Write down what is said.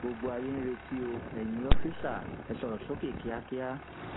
gbogbo ayé ń retí o eyín òòfiṣà ẹ sọrọ sókè kíákíá